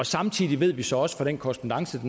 samtidig ved vi så også fra den korrespondance